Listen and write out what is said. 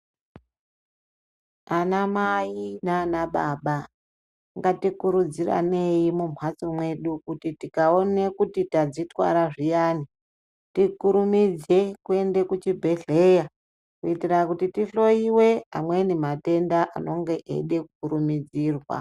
Anamai nababa ngatikurudziranei mumhatso mwedu kuti tikaone kuti tadzitwara zviyani tikurumidze kuende kuchibhehleya kuitira kuti tihlowiwe amweni matenda anonga eida kukurumidzirwa.